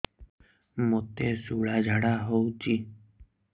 ମୋତେ ଶୂଳା ଝାଡ଼ା ହଉଚି